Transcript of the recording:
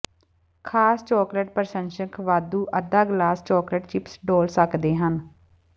ਖਾਸ ਚਾਕਲੇਟ ਪ੍ਰਸ਼ੰਸਕ ਵਾਧੂ ਅੱਧਾ ਗਲਾਸ ਚਾਕਲੇਟ ਚਿਪਸ ਡੋਲ੍ਹ ਸਕਦੇ ਹਨ